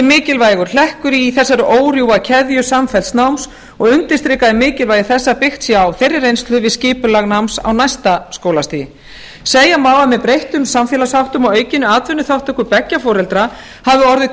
mikilvægur hlekkur í þessari órofa keðju samfellds náms og undirstrikað er mikilvægi þess að byggt sé á þeirri reynslu við skipulag náms á næsta skólastigi segja má að með breyttum samfélagsháttum og aukinni atvinnuþátttöku beggja foreldra hafi orðið